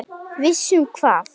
Viss um hvað?